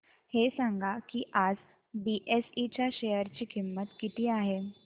हे सांगा की आज बीएसई च्या शेअर ची किंमत किती आहे